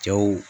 Cɛw